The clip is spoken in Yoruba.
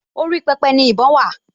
Orí pẹpẹ ni ìbọn wà